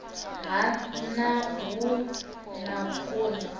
ha nha hu na vhukoni